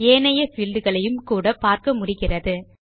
ஏனைய பீல்ட் களையும் கூட பார்க்க முடிகிறது